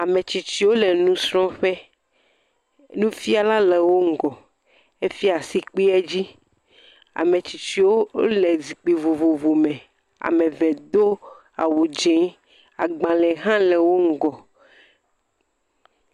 Ametsitsiwo le nu srɔ̃ƒe, nufiala le wo ŋgɔ, efiɛ asi kpeɛdzi, ametsitsiwo wole zikpue vovovo me ameve do awudzĩ, agbalẽ hã le wo ŋgɔ.